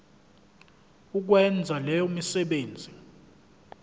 ukwenza leyo misebenzi